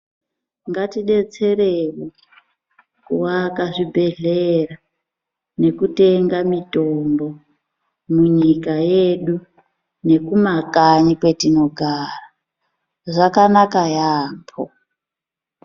Ngatidetsere kuvaka zvibhedhlera nekutenga mitombo munyika yedu nekumakanyi kwetinogara, zvakanaka yeyambo.